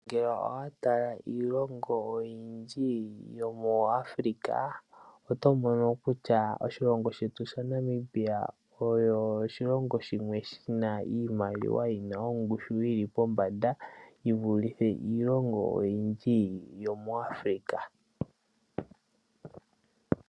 Ngele owa tala iilongo oyindji yomu Africa otomono kutya oshilongo shetu sha Namibia osho oshilongo shimwe shina ongushu yiimaliwa yili pombanda yivulithe iilongo oyindji yomu Africa.